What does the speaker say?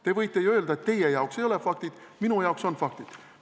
Te võite ju öelda, et teie jaoks ei ole faktid, minu jaoks on faktid.